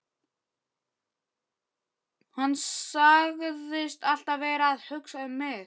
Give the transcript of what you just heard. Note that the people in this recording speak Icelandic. Hann sagðist alltaf vera að hugsa um mig.